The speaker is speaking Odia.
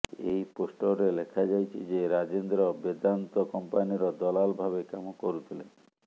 ଏହି ପୋଷ୍ଟରରେ ଲେଖାଯାଇଛି ଯେ ରାଜେନ୍ଦ୍ର ବେଦାନ୍ତ କମ୍ପାନୀର ଦଲାଲ ଭାବେ କାମ କରୁଥିଲେ